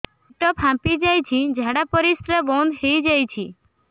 ପେଟ ଫାମ୍ପି ଯାଇଛି ଝାଡ଼ା ପରିସ୍ରା ବନ୍ଦ ହେଇଯାଇଛି